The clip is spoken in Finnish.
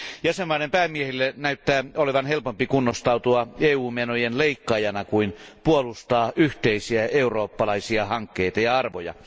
Jäsenvaltioiden päämiehille näyttää olevan helpompi kunnostautua EU menojen leikkaajana kuin puolustaa yhteisiä eurooppalaisia hankkeita ja arvoja.